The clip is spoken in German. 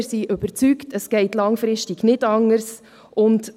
Wir sind überzeugt, dass es langfristig nicht anders geht.